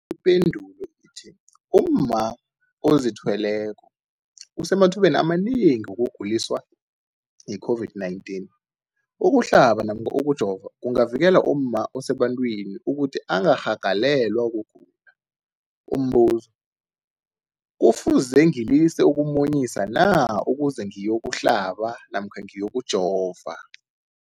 Ipendulo, umma ozithweleko usemathubeni amanengi wokuguliswa yi-COVID-19. Ukuhlaba namkha ukujova kungavikela umma osebantwini ukuthi angarhagalelwa kugula. Umbuzo, kufuze ngilise ukumunyisa na ukuze ngiyokuhlaba namkha ngiyokujova?